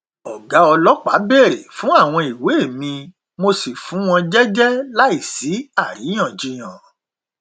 ọgá ọlọpàá bèrè fún àwọn ìwé mi mo sì fún wọn jẹjẹ láì sí àríyànjiyàn